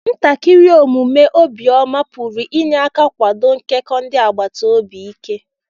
ntakiri omume obiọma pụrụ inye aka kwado nkekọ ndị agbata obi ike.